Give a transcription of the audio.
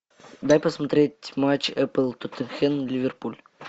дай посмотреть матч апл тоттенхэм ливерпуль